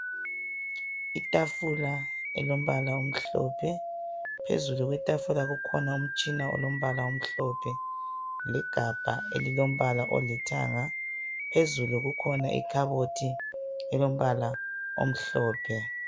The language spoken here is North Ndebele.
Itafula elilombala omhlophe phezulu kwetafula kukhona umtshina olombala omhlophe legabha elilombala olithanga. Phezulu kukhona ikhabothi elilombala omhlophe.